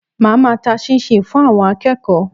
Màá ma ta 'chinchin' fún àwon akéèkó